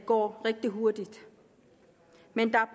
går rigtig hurtigt men der